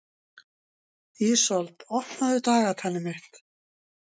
Ísold, opnaðu dagatalið mitt.